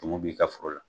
Tumu b'i ka foro la